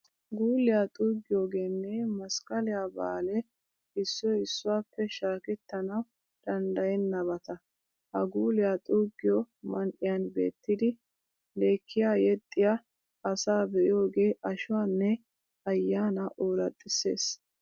Guuliya xuuggiyogeenne masqqaliya baalee issoy issuwappe shaakettanawu danddayennabata. Ha guuliya xuuggiyo man"iyan beettidi lekkiya yexxiya asaa be'iyogee ashuwanne ayyaanaa ooraxissees.